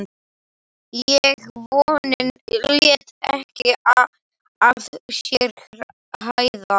En vonin lét ekki að sér hæða.